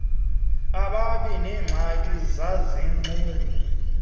ababi nazingxaki zazintlungu